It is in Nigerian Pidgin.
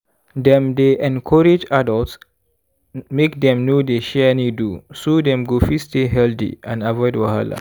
dem dey encourage adults make dem no dey share needle so dem go fit stay healthy and avoid wahala